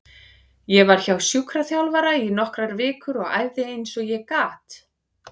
Ég var hjá sjúkraþjálfara í nokkrar vikur og æfði eins og ég gat.